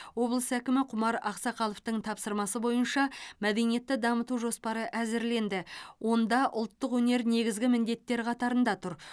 облыс әкімі құмар ақсақаловтың тапсырмасы бойынша мәдениетті дамыту жоспары әзірленді онда ұлттық өнер негізгі міндеттер қатарында тұр